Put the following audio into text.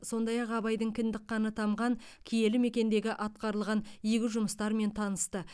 сондай ақ абайдың кіндік қаны тамған киелі мекендегі атқарылған игі жұмыстармен танысты